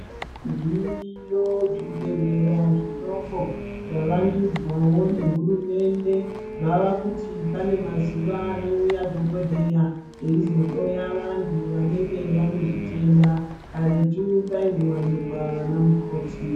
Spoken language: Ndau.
Zviriyo zvibhehleya zvidoko zvavandudzwawo nehurumende zvaakuti pane mazuwa anouya dhokodheya eizohloya vanhu vanenge vane zvitenda karetu paingowanikwa vanamukoti.